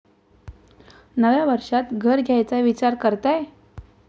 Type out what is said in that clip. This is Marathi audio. नव्या वर्षात घर घ्यायचा विचार करताय?